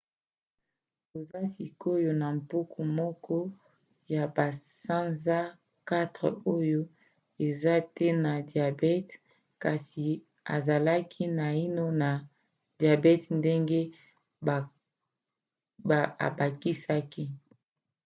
toza sikoyo na mpuku moko ya basanza 4 oyo eza te na diabete kasi ezalaki naino na diabete ndenge abakisaki